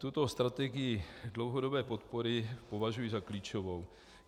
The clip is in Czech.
Tuto strategii dlouhodobé podpory považuji za klíčovou.